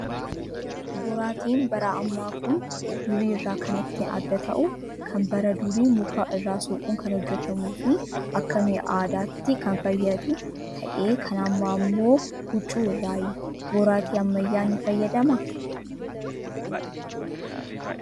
Boraatiin bara ammaa kan durii irraa kan ittiin adda ta'uu kan bara durii muka irraa soquun kan hojjatamuu fi Akka mi'a aadaatti kan fayyadu ta'ee kan ammaa immoo hucvuu irraayi. Boraatii ammayyaa ni fayyadamaa?